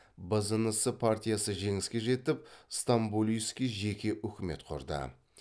бзнс партиясы жеңіске жетіп стамболийский жеке үкімет құрды